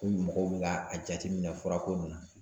Ko mɔgɔw bɛ ka a jateminɛ fura ko nin na.